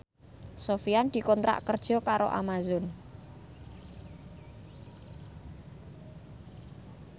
Sofyan dikontrak kerja karo Amazon